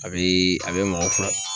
A bɛ a bɛ mɔgɔ fura